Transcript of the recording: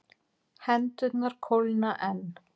Hendurnar kólna enn.